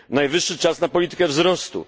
Najwyższy czas na politykę wzrostu.